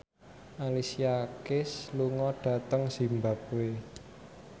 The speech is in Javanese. Alicia Keys lunga dhateng zimbabwe